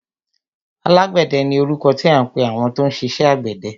Alágbẹ̀dẹ ni orúkọ tí à ń pẹ àwọn tó ń ṣiṣẹ àgbẹ̀dẹ.